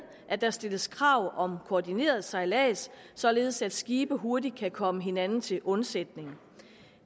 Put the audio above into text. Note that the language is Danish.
at der stilles krav om koordineret sejlads således at skibe hurtigt kan komme hinanden til undsætning